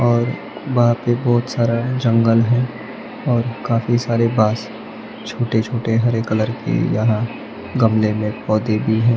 और वहां पे बहोत सारा जंगल है और काफी सारे पास छोटे छोटे हरे कलर के यहां गमले में पौधे भी हैं।